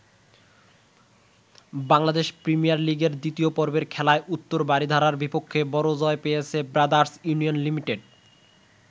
Bangladesh premier লিগের দ্বিতীয় পর্বের খেলায় উত্তর বারিধারার বিপক্ষে বড় জয় পেয়েছে ব্রাদার্স ইউনিয়ন লিমিটেড।